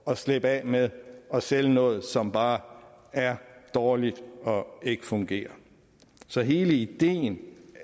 at slippe af med at sælge noget som bare er dårligt og ikke fungerer så hele ideen